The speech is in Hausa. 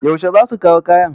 Yaushe za su kaw kayan?